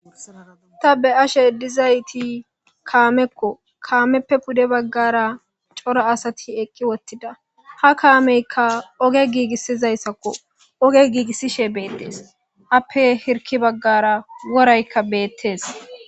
ta be ashe dizayti kaamekko kaameppe pude baggara coro asati ekki wottida ha kaameyka oge giigissizayssakko oge giigissishe beettes appe hirki baggara woraykka beettees